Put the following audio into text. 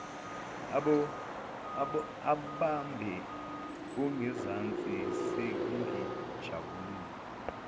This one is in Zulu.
abambe ongezansi sengijabule